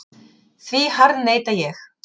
Því harðneita ég.